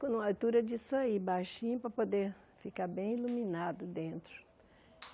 Põe numa altura disso aí, baixinho, para poder ficar bem iluminado dentro.